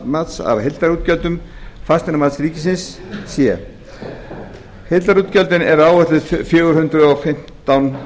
brunabótamats er af heildarútgjöldum fasteignamats ríkisins heildarútgjöld eru áætluð sjö hundruð og fimmtán